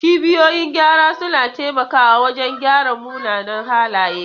Cibiyoyin gyara suna taimakawa wajen gyara munanan halaye.